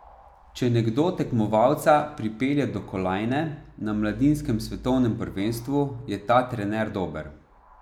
Če nekdo tekmovalca pripelje do kolajne na mladinskem svetovnem prvenstvu, je ta trener dober.